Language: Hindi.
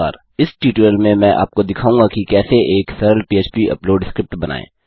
इस टयूटोरियल में मैं आपको दिखाऊँगा कि कैसे एक सरल पह्प अपलोड स्क्रिप्ट बनाएँ